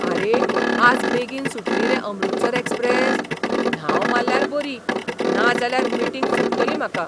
आरे, आज बेगीन सुटली रे अमृतसर एक्सप्रेस? धांव मारल्यार बरी, नाजाल्यार मीटिंग चुकतली म्हाका!